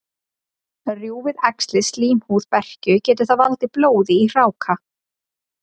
Rjúfi æxlið slímhúð berkju, getur það valdið blóði í hráka.